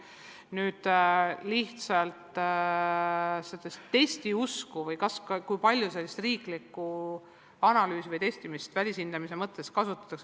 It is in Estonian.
Nüüd, kui palju sellist riiklikku analüüsi või testimist välishindamiseks kasutatakse?